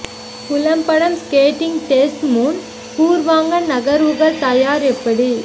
புலம் படம் skating test முன் பூர்வாங்க நகர்வுகள் தயார் எப்படி